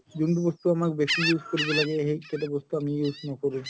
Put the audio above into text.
যোনতো বস্তু আমাক বেচি use কৰিব লাগে সেইকেইটা বস্তু আমি use নকৰো